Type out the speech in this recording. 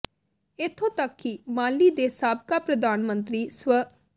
ਇਥੋਂ ਤਕ ਕਿ ਮਾਲੀ ਦੇ ਸਾਬਕਾ ਪ੍ਰਧਾਨ ਮੰਤਰੀ ਸਵ